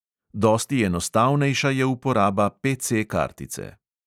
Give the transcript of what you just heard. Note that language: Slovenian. Dosti enostavnejša je uporaba PC-kartice.